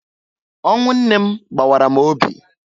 Ọnwụ nne m gbawara m obi